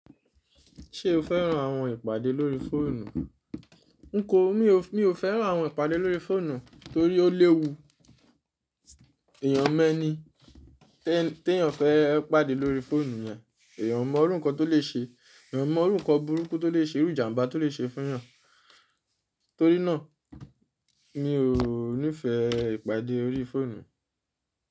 Ṣé o fẹ́ran àwọn ìpàdé lórí fóònù? N kò, mi ò fẹ́ran àwọn ìpàdé lórí fóònù torí ó léwu. Èèyàn mẹ́ni tí èèyàn fẹ́ pàdé lórí fóònù yẹn, èèyàn mọ̀ orú nkan tó lè ṣe, èèyàn mọ̀ orú nkan burúkú tó lè ṣe, rú ìjàmbá tó lè ṣe fún èèyàn. Torí náà, mi ò ní fẹ ìpàdé orí fóònù.